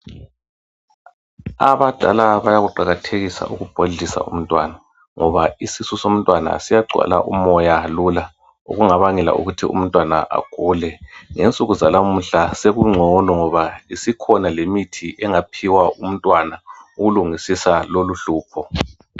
Abadala bayakuqakathekisa ukubhodlisa umntwana, ngoba isisu somntwana siyagcwala umoya lula, okungabangela ukuthi umntwana agule, ngensuku zalamuhla sekungcono, ngoba isikhona lemithi engaphiwa umntwana ukulungisisa loluhlupho.